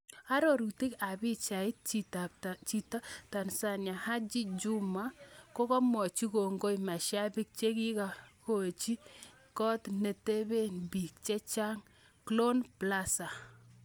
Arorutik ab pichait, chito ab Tanzania Haji Juma, komwochin kongoi mashabik chikikakonyi kot netepe biik chechang Glown Plaza.